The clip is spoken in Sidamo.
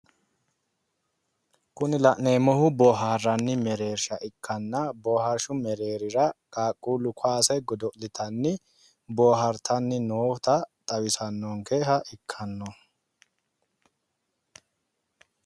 Kuni la'neemohu booharrani mereersha ikkana booharshu mereerira qaaquulu kaase godo'litanni boohartanni noota xawisanonkeha ikkano